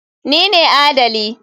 Ni ne adali.